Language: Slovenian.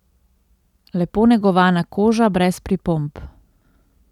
Lepo negovana koža, brez pripomb.